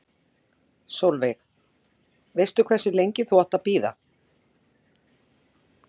Sólveig: Veistu hversu lengi þú átt að bíða?